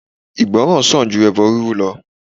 Ìgbọ́ràn sàn ju ẹbọ rírú lọ.